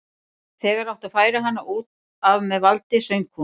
Þegar átti að færa hana út af með valdi söng hún